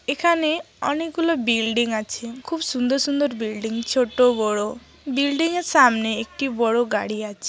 এখানে অনেক গুলো বিল্ডিং আছে খুব সুন্দর সুন্দর বিল্ডিং ছোট বড় বিল্ডিং -এর সামনে একটি বড় গাড়ি আছে।